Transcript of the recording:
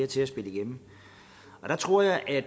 til at spille igennem der tror jeg at